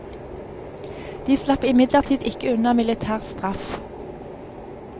De slapp imidlertid ikke unna militær straff.